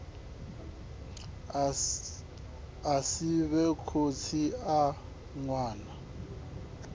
a sivhe khotsi a ṅwana